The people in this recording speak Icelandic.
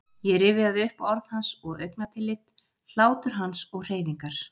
Ég rifjaði upp orð hans og augnatillit, hlátur hans og hreyfingar.